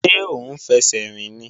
Ṣé ó ń fẹsẹ̀ rìn ni?